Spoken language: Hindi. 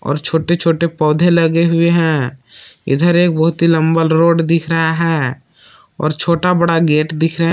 और छोटे छोटे पौधे लगे हुए हैं इधर एक बहुत ही लंबा रोड दिख रहा है और छोटा बड़ा गेट दिख रहे--